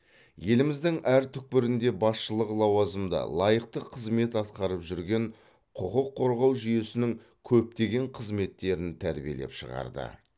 еліміздің әр түпкірінде басшылық лауазымда лайықты қызмет атқарып жүрген құқық қорғау жүйесінің көптеген қызметкерін тәрбиелеп шығарды